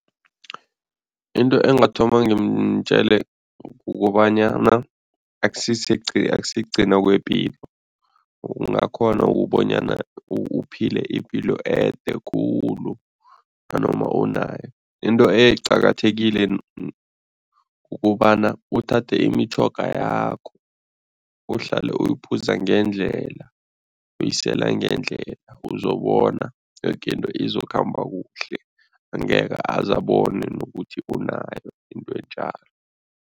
Into engathoma ngimtjele kukobanyana, akusikugcina kwepilo, ungakghona ukubonyana uphile ipilo ede khulu nanoma unayo, into eqakathekile kukobana uthathe imitjhoga yakho, uhlale uyiphuza ngendlela uyisela ngendlela, uzobona, yoke into izokhamba kuhle, angeke aze abone nokuthi unayo into enjalo.